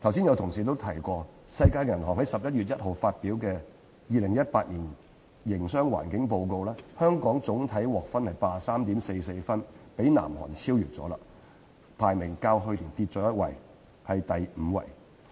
有同事剛已提及，世界銀行在11月1日發表的《2018年營商環境報告》，香港總體獲得 83.44 分，已被南韓超越，排名較去年下跌一級，至全球第五位。